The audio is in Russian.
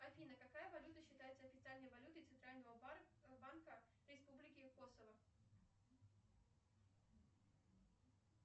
афина какая валюта считается официальной валютой центрального банка республики косово